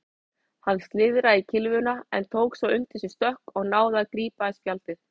Hann slíðraði kylfuna en tók svo undir sig stökk og náði að grípa í spjaldið.